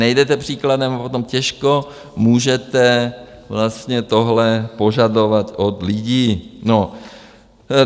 Nejdete příkladem a potom těžko můžete vlastně tohle požadovat od lidí.